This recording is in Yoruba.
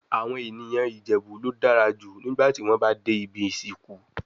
Awon eniyan Ijebu lo dara ju nigba ti won ba de ibi isinku